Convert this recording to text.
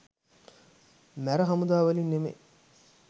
මැර හමුදා වලින් නෙමෙයි